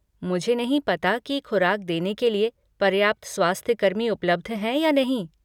मुझे नहीं पता कि खुराक देने के लिए पर्याप्त स्वास्थ्यकर्मी उपलब्ध हैं या नहीं।